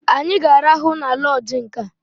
Anyị ga-arahụ na lọọjị nkea!